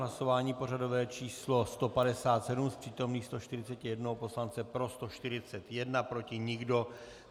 Hlasování pořadové číslo 157, z přítomných 141 poslance pro 141, proti nikdo.